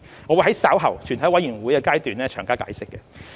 我會在稍後全體委員會審議階段詳加解釋。